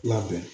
Labɛn